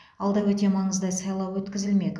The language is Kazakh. алда өте маңызды сайлау өткізілмек